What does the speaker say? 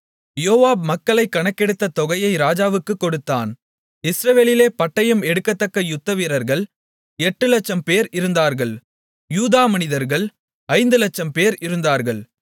யோவாப் மக்களைக் கணக்கெடுத்த தொகையை ராஜாவுக்குக் கொடுத்தான் இஸ்ரவேலிலே பட்டயம் எடுக்கத்தக்க யுத்தவீரர்கள் 800000 பேர் இருந்தார்கள் யூதா மனிதர்கள் 500000 பேர் இருந்தார்கள்